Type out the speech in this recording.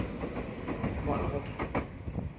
Mollerup